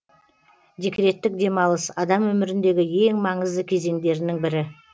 декреттік демалыс адам өміріндегі ең маңызды кезеңдерінің бірі